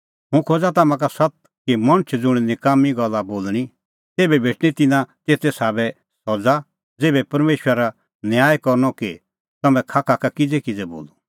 हुंह खोज़ा तम्हां का सत्त कि मणछा ज़ुंण नकाम्मीं गल्ला बोल़णीं तेभै भेटणीं तिन्नां तेते साबै सज़ा ज़ेभै परमेशरा न्याय करनअ कि तम्हैं खाखा का किज़ैकिज़ै बोलअ